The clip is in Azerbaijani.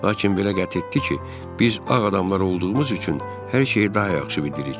Lakin belə qəti etdi ki, biz ağ adamlar olduğumuz üçün hər şeyi daha yaxşı bilirik.